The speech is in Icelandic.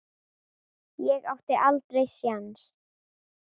Ég átti aldrei séns.